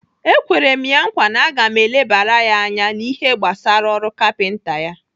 Ekwere m ya nkwa na m ga-elebara ya anya n'ihe gbasara ọrụ kapinta ya.